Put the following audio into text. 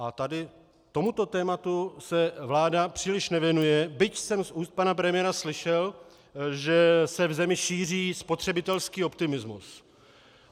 A tady tomuto tématu se vláda příliš nevěnuje, byť jsem z úst pana premiéra slyšel, že se v zemi šíří spotřebitelský optimismus.